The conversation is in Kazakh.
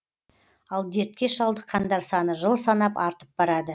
ал дертке шалдыққандар саны жыл санап артып барады